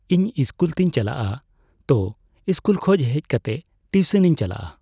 ᱤᱧ ᱤᱥᱠᱩᱞᱛᱮᱧ ᱪᱟᱞᱟᱜᱼᱟ ᱛᱚ ᱤᱥᱠᱩᱞ ᱠᱷᱚᱡ ᱦᱮᱡᱠᱟᱛᱮᱜ ᱴᱤᱩᱥᱚᱱᱤᱧ ᱪᱟᱞᱟᱜᱼᱟ ᱾